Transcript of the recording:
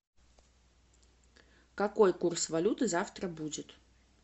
какой курс валюты завтра будет